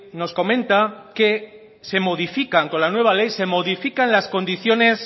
nos comenta que se modifican con la nueva ley se modifican las condiciones